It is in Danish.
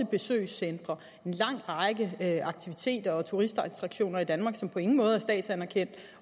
besøgscentre en lang række aktiviteter og turistattraktioner i danmark som på ingen måde er statsanerkendt